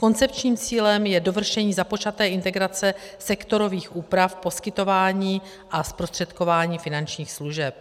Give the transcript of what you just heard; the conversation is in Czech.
Koncepčním cílem je dovršení započaté integrace sektorových úprav poskytování a zprostředkování finančních služeb.